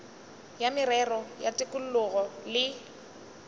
ya merero ya tikologo le